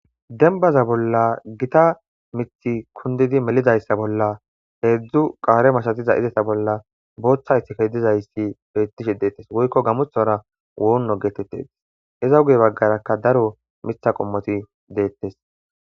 denbaza bolla gita mithi kundidi melizayssa bolla heedzdzu qaare masatiza izesa bolla booththa isike dizayssi beettishi deettes woykko gamothora woonno geetettes iza guye baggarakka daro mitha qommoti deettes